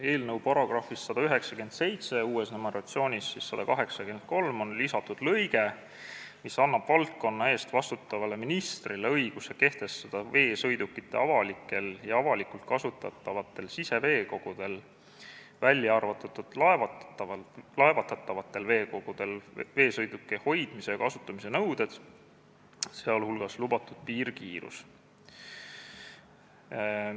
Eelnõu § 197 on lisatud lõige, mis annab valdkonna eest vastutavale ministrile õiguse kehtestada veesõidukitele avalikel ja avalikult kasutatavatel siseveekogudel, välja arvatud laevatatavatel veekogudel, veesõidukite hoidmise ja kasutamise nõuded, sh lubatud piirkiirus.